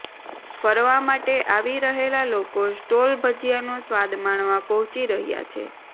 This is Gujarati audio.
ફરવા માટે આવી રહેલા લોકો સ્ટોલ ભજિયાનો સ્વાદ માણવા પહોંચી રહ્યા છે